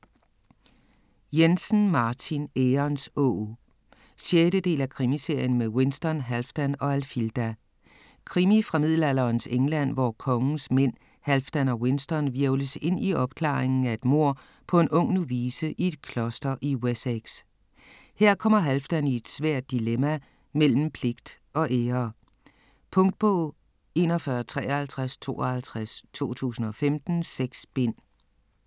Jensen, Martin: Ærens åg 6. del af Krimiserien med Winston, Halfdan og Alfilda. Krimi fra middelalderens England, hvor kongens mænd Halfdan og Winston hvirvles ind i opklaringen af et mord på en ung novice i et kloster i Wessex. Her kommer Halfdan i et svært dilemma mellem pligt og ære. Punktbog 415352 2015. 6 bind.